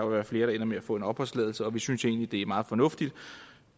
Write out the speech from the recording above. være flere der ender med at få opholdstilladelse og vi synes egentlig det er meget fornuftigt